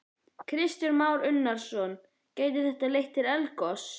Kristján Már Unnarsson: Gæti þetta leitt til eldgoss?